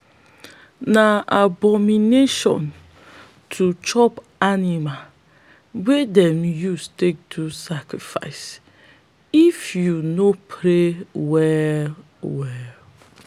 na abomination to chop animal wey them don use take do sacrifice if you no pray well well.